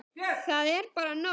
Það er bara nóg.